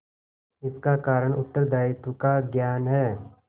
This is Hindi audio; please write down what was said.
इसका कारण उत्तरदायित्व का ज्ञान है